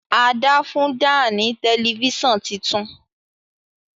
Ada fún Dan ní Tẹlifíṣàn títún.